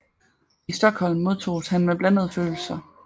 I Stockholm modtoges han med blandede følelser